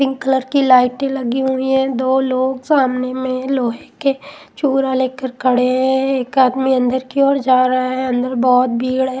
Pink colour की लाइटे लगी हुई है दो लोग सामने में लोहे के चुरा लेकर खड़े है एक आदमी अंदर की ओर जा रहा है अंदर बहोत भीड़ है।